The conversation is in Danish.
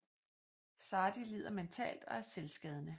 Zadi lider mentalt og er selvskadende